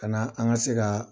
Ka na an ka se ka